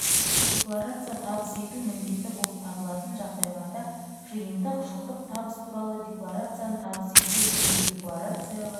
декларация табыс ету міндетті болып табылатын жағдайларда жиынтық жылдық табыс туралы декларацияны табыс етпеу не декларацияға